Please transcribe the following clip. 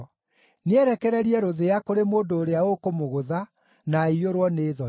Nĩerekererie rũthĩa kũrĩ mũndũ ũrĩa ũkũmũgũtha, na aiyũrwo nĩ thoni.